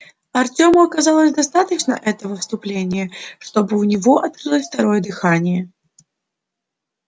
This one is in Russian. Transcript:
артёму оказалось достаточно этого вступления чтобы у него открылось второе дыхание